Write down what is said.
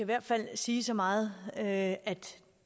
hvert fald sige så meget at